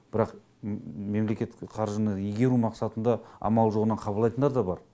бірақ мемлекеттік қаржыны игеру мақсатында амалы жоғынан қабылдайтындар да бар